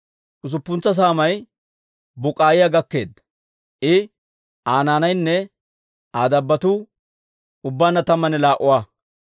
Usuppuntsa saamay Buk'k'iyaa gakkeedda; I, Aa naanaynne Aa dabbotuu ubbaanna tammanne laa"a.